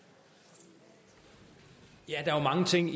der er jo mange ting